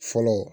Fɔlɔ